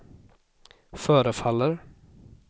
förefaller